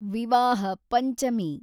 ವಿವಾಹ ಪಂಚಮಿ